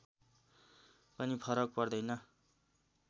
पनि फरक पर्दैन